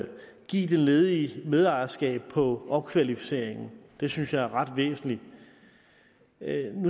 give den ledige medejerskab på opkvalificering det synes jeg er ret væsentligt jeg